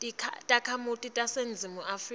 takhamiti taseningizimu afrika